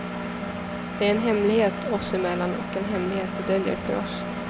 Det är en hemlighet oss emellan och en hemlighet de döljer för oss.